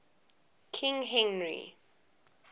king henry